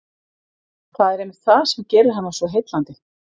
Það er einmitt það sem gerir hana svo heillandi.